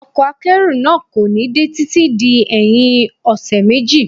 Ọkọ̀ akẹ́rù náà kò ní dé títí di ẹyin ọṣẹ méjì.